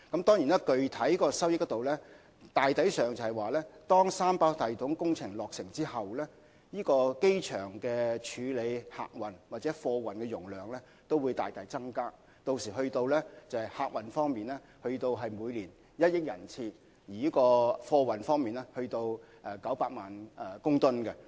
當然，具體收益方面，當三跑道系統工程落成後，機場處理客運或貨運的容量將大大增加，屆時客運量將會增加至每年1億人次，而貨運量亦會增加至900萬公噸。